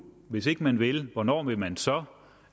hvis ikke man vil hvornår vil man så